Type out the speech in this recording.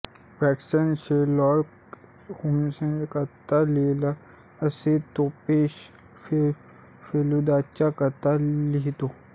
Watson Sherlock होम्सच्या कथा लिहीतात तसे तोपेश फेलूदाच्या कथा लिहीतो